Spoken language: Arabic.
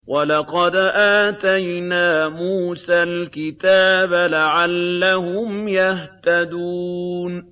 وَلَقَدْ آتَيْنَا مُوسَى الْكِتَابَ لَعَلَّهُمْ يَهْتَدُونَ